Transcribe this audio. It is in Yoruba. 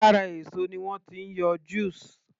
Lára èso ni wọ́n ti ń yọ juice